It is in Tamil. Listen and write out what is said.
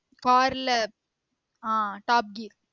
Car ல ஆஹ் top gear